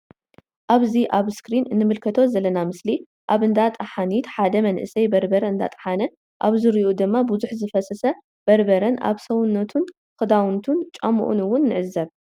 ኣብዚ እስክሪን ንምልከቶ ዝለና ምስሊ ኣብ እንዳ ጠሓኒት ሓደ መንእሰይ በርበር እንዳጥሓነ ኣብ ዙሪኡ ድማ ብዙሕ ዝፈሰሰ በርበረን ኣብ ሰውነቱን ክዳውንቱን ጫሙኡን እውን ንዕዘብ።